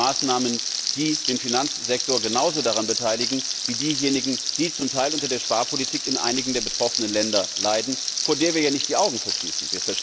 All das sind Maßnahmen, die den Finanzsektor genauso daran beteiligen wie diejenigen, die zum Teil unter der Sparpolitik in einigen der betroffenen Länder leiden, wovor wir ja nicht die Augen verschließen.